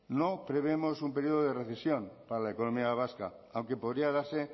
no prevemos un periodo de recesión para la economía vasca aunque podría darse